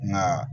Nka